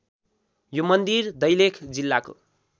यो मन्दिर दैलेख जिल्लाको